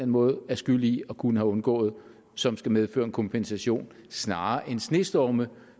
måde er skyld i og kunne have undgået som skal medføre en kompensation snarere end snestorme